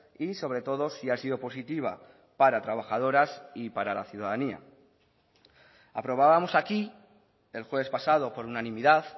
y sobre todo si ha sido positiva para trabajadoras y para la ciudadanía aprobábamos aquí el jueves pasado por unanimidad